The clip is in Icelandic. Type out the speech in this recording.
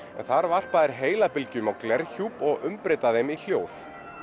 þar varpa þær heilabylgjum á glerhjúp og umbreyta þeim í hljóð